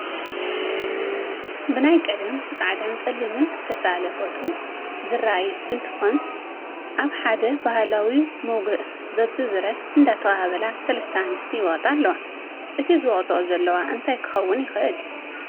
ብናይ ቀደም ፃዕዳን ፀሊምን ዝተሳኣለ ፎቶ ዝራኣይ እንትኾን ኣብ ሓደ ባህላዊ ሞጉእ በቢ ብረ እንዳተቐባበላ 3 ኣንስቲ ይወቕጣ ኣለዋ፡፡ እቲ ዝወቕጠኦ ዘለዋ እንታይ ክኾን ይኽእል?